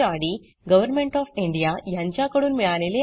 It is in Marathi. गव्हरमेण्ट ऑफ इंडिया कडून अर्थसहाय्य मिळाले आहे